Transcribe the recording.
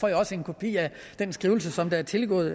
jeg også en kopi af den skrivelse som der er tilgået